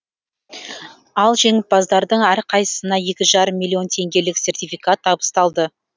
ал жеңімпаздардың әрқайсысына екі жарым миллион теңгелік сертификат табысталды